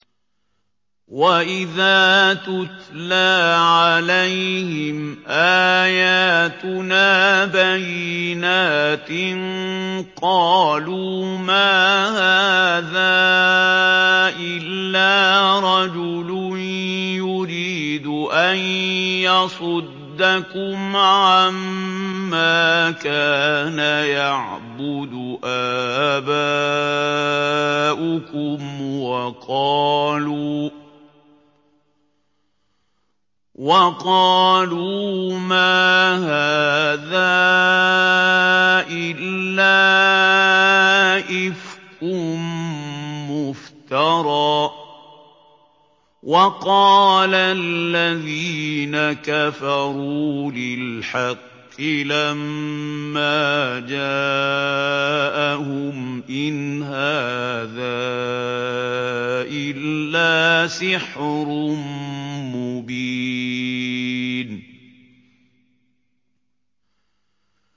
وَإِذَا تُتْلَىٰ عَلَيْهِمْ آيَاتُنَا بَيِّنَاتٍ قَالُوا مَا هَٰذَا إِلَّا رَجُلٌ يُرِيدُ أَن يَصُدَّكُمْ عَمَّا كَانَ يَعْبُدُ آبَاؤُكُمْ وَقَالُوا مَا هَٰذَا إِلَّا إِفْكٌ مُّفْتَرًى ۚ وَقَالَ الَّذِينَ كَفَرُوا لِلْحَقِّ لَمَّا جَاءَهُمْ إِنْ هَٰذَا إِلَّا سِحْرٌ مُّبِينٌ